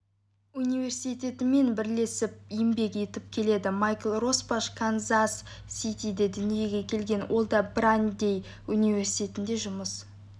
университетінмен бірлесіп еңбек етіп келеді майкл росбаш канзас-ситиде дүниеге келген ол да брандей университетінде жұмыс